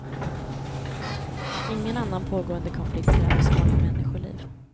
Ingen annan pågående konflikt kräver så många människoliv.